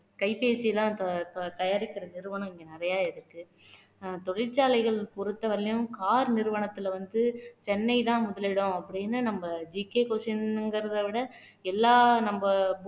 கைபேசி எல்லாம் த தயாரிக்கிற நிறுவனம் இங்க நிறைய இருக்கு தொழிற்சாலைகள் பொறுத்தவரையிலும் car நிறுவனத்துல வந்து சென்னை தான் முதலிடம் அப்படின்னு நம்ம GKquestion ங்கிறதை விட